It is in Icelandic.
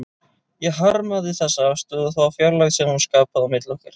Ég harmaði þessa afstöðu og þá fjarlægð sem hún skapaði milli okkar.